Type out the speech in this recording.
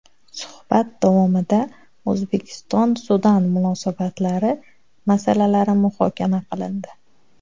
Suhbat davomida O‘zbekiston - Sudan munosabatlari masalalari muhokama qilindi.